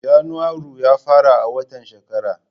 Janairu ya fara a watan shekara.